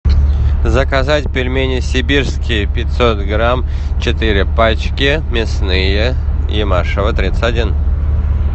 заказать пельмени сибирские пятьсот грамм четыре пачки мясные юмашево тридцать один